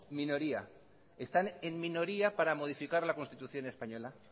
minoría están en minoría para modificar la constitución española